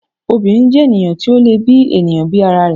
obìnrín jẹ́ ènìyàn tó lè bi èèyàn bí ara rẹ̀